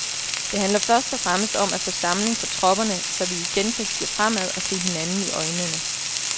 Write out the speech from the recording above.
Det handler først og fremmest om at få samling på tropperne, så vi igen kan kigge fremad og se hinanden i øjnene.